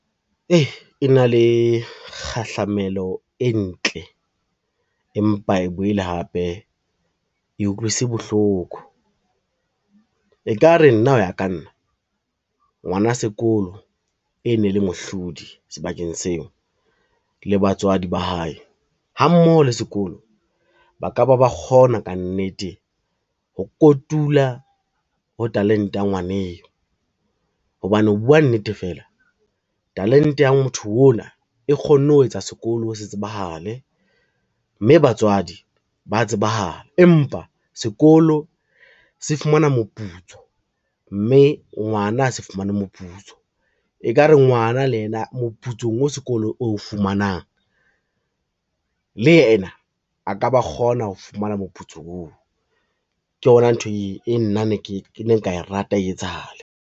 E na le kgahlamelo e ntle, empa e boele hape e utlwise bohloko. E ka re nna ho ya ka nna ngwana sekolo e ne le mohlodi sebakeng seo le batswadi ba hae ha mmoho le sekolo, ba ka ba ba kgona ka nnete ho kotula ho talente ya ngwana eo, hobane ho bua nnete fela talente ya motho o la e kgonne ho etsa sekolo se tsebahale, mme batswadi ba tsebahala. Empa sekolo se fumana moputso, mme ngwana a se fumane moputso, e ka re ngwana le yena moputsong wa sekolo o fumanang le yena a ka ba kgona ho fumana moputso oo. Ke yona ntho e nna ke ne nka rata e etsahale.